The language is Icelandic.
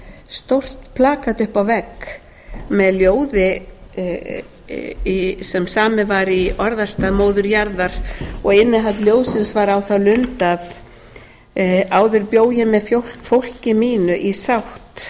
stórt plakat uppi á vegg með ljóði sem samið var í orðastað móður jarðar og innihald ljóðsins var á þá lund að áður bjó ég með fólki mínu í